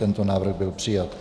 Tento návrh byl přijat.